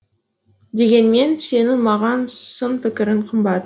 дегенмен сенің маған сын пікірің қымбат